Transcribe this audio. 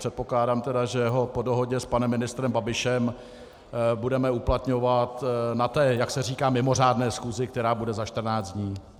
Předpokládám tedy, že ho po dohodě s panem ministrem Babišem budeme uplatňovat na té, jak se říká, mimořádné schůzi, která bude za 14 dní.